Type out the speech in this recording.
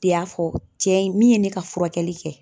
T'i y'a fɔ cɛ in min ye ne ka furakɛli kɛ